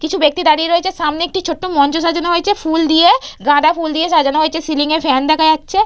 কিছু ব্যক্তি দাঁড়িয়ে রয়েছে সামনে একটি ছোট্ট মঞ্চ সাজানো হয়েছে ফুল দিয়ে গাঁদা ফুল দিয়ে সাজানো হয়েছে সিলিং এ ফ্যান দেখা যাচ্ছে।